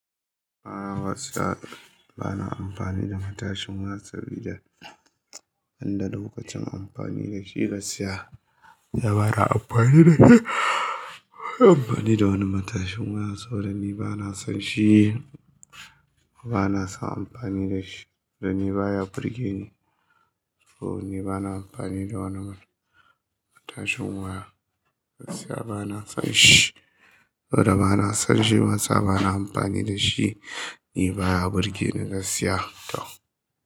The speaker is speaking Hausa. A'a gaskiya ba na amfani da matashin waya saboda an banda lokacin amfani da shi gaskiya ya bana amfani da kai. Amfani da wani matashin waya saboda ni ba na son shi, ba na son amfani da shi danni baya burgeni. To ni ba na amfani da wani matashin waya, gaskiya ba na son shi. Saboda ba na son shi bansa ba da amfani da shi, ni baya burgeni gaskiya tau.